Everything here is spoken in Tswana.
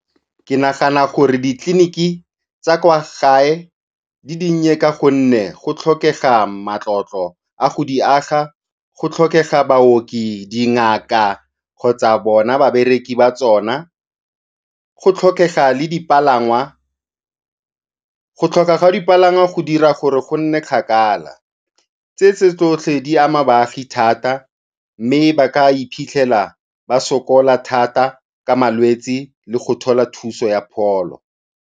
Ke nagana gore ditleliniki tsa kwa gae di dinnye ka gonne go tlhokega matlotlo a go di aga, go tlhokega baoki, dingaka kgotsa bona babereki ba tsona, go tlhokega le dipalangwa. Go tlhokega ga dipalangwa go dira gore go nne kgakala, tse tse tsotlhe di ama baagi thata mme ba ka iphitlhela ba sokola thata ka malwetsi le go thola thuso ya pholo.